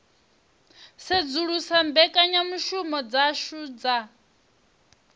u sedzulusa mbekanyamushumo dzashu dza